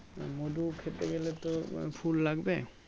মধু খেতে গেলে তো ফুল লাগবে